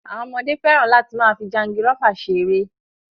Àwọn ọmọdé fẹràn láti máa fi jangirọ́fà ṣe ẹrẹ́